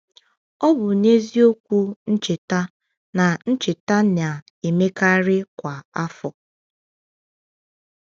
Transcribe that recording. Ọ bụ n’eziokwu ncheta, na ncheta na-emekarị kwa afọ.